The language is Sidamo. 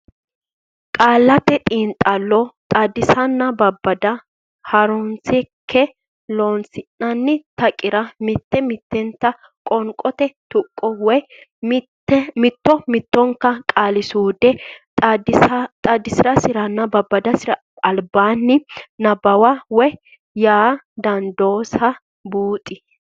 Qaallate Xiinxallo Xaadisanna Babbada Ha runsi keeno Loossinanni taqira mitte mittenta qoonqote tuqqo woy mitto mittonka qaali suude xaadisansaranna babbadansara albaanni nabbawa woy yaa dandaansa buuxi.